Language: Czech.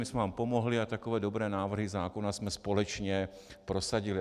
My jsme vám pomohli a takové dobré návrhy zákona jsme společně prosadili.